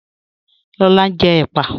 Lọlá n jẹ́ èpà